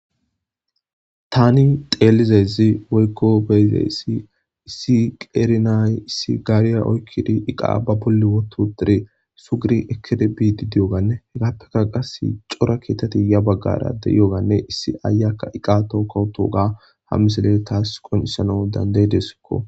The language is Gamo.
Tani xelizaysi woylo beyozaysi issi qeri na'ay issi gariya oykidi eqa ba bolli wothi uttidi sugidi ekidi biyoganne hegappeka qase cora kethati he bagara issi ayiyaka eqa Toka uttoga ha misiley tas qoncisana danda'desko